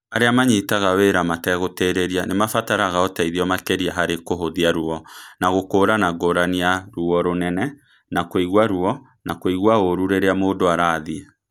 Arĩa manyitaga wĩra mategũtĩrĩria nĩ maabataraga ũteithio makĩria harĩ kũhũthia ruo na gũkũũrana ngũrani ya ruo rũnene na kũigua ruo na kũigua ũũru rĩrĩa mũndũ arathiĩ.